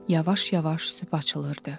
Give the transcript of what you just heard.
Yavaş-yavaş sübh açılırdı.